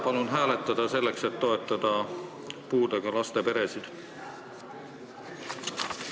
Palun seda hääletada, selleks et toetada puudega laste peresid!